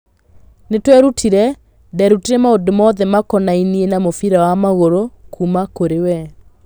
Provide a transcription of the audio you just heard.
Nĩtwerutire, nderutire maũndũ mothe makonainiĩ na mũbira wa magũrũ kuma kũrĩ we.